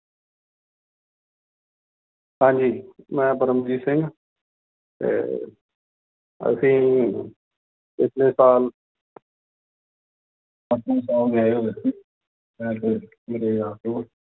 ਹਾਂਜੀ ਮੈਂ ਪਰਮਵੀਰ ਸਿੰਘ ਤੇ ਅਸੀਂ ਪਿੱਛਲੇ ਸਾਲ ਪਟਨਾ ਸਾਹਿਬ ਗਏ ਹੋਏ ਸੀ